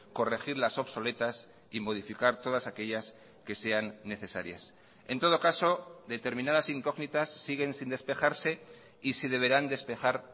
corregir las obsoletas y modificar todas aquellas que sean necesarias en todo caso determinadas incógnitas siguen sin despejarse y se deberán despejar